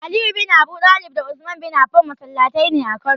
Aliyu bin Abudalib da Usman bin Afan masallataine a kano.